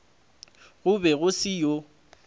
go be go se yoo